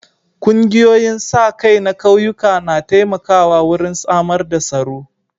Ƙungiyoyin sa-kai na ƙauyuka na taimakawa wurin samar da tsaro.